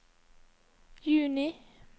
juni